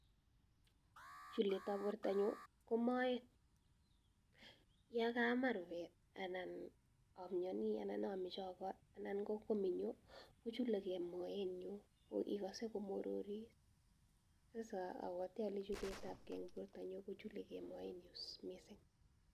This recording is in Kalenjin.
Chulet ab borta nyun ko moet , ya kaama rupet anan amnyani anan amache anan ko minyoo kochuleke moe nyun koikase komorori sasa abawate ale chulet ab ke eng borta nyu kuchuleke moenyu missing.